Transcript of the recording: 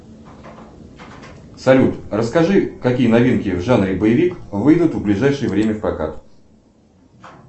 салют расскажи какие новинки в жанре боевик выйдут в ближайшее время в прокат